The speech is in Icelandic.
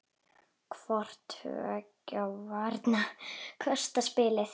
Hvor tveggja vörnin kostar spilið.